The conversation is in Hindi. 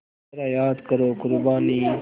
ज़रा याद करो क़ुरबानी